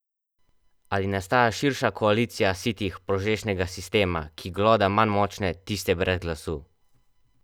Ali nastaja širša koalicija sitih požrešnega sistema, ki gloda manj močne, tiste brez glasu?